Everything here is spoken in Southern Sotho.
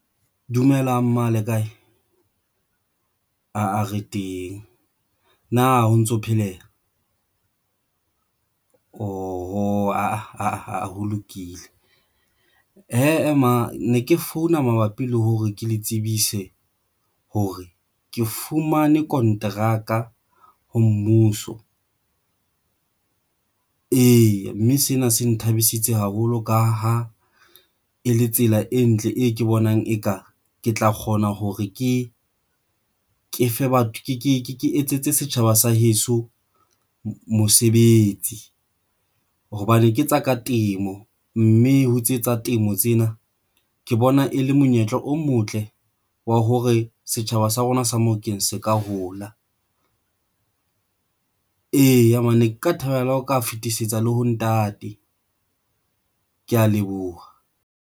Dumelang mma le kae? Aa re teng na ho ntso pheleha ooho lokile hee mono ne ke founa mabapi le hore ke le tsebise hore ke fumane konteraka ho mmuso. Eya, mme sena se nthabisitseng haholo ka ho e le tsela e ntle e ke bonang, eka ke tla kgona hore ke ke fe batho. Ke etsetse setjhaba sa heso mosebetsi hobane ke tsa ka temo, mme ho etse tsa temo tsena ke bona e le monyetla o motle wa hore setjhaba sa rona sa Mofokeng se ka hola. Eya, mme nka thabela ho ka fetisetsa le ho ntate. Ke ya leboha.